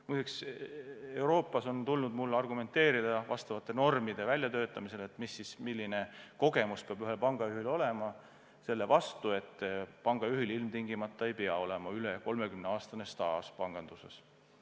Muide, Euroopas on mul tulnud nende normide väljatöötamisel, milline kogemus ikkagi peab ühel pangajuhil olema, argumenteerida selle vastu, et pangajuhil peab ilmtingimata olema üle 30-aastane staaž panganduses.